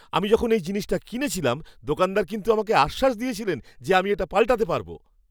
আমি যখন এই জিনিসটি কিনেছিলাম, দোকানদার কিন্তু আমাকে আশ্বাস দিয়েছিলেন যে আমি পাল্টাতে পারব।